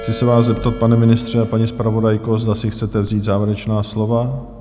Chci se vás zeptat, pane ministře a paní zpravodajko, zda si chcete vzít závěrečná slova?